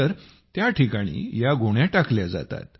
तर त्या ठिकाणी या गोण्या टाकल्या जातात